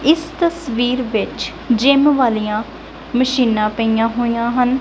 ਇੱਸ ਤਸਵੀਰ ਵਿੱਚ ਜਿੱਮ ਵਾਲਿਆਂ ਮਸ਼ੀਨਾਂ ਪਈਆਂ ਹੋਈਆਂ ਹਨ।